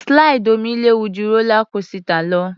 Slide omi léwu ju rólá kósità lọ.